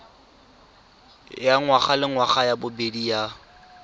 ya ngwagalengwaga ya bobedi ya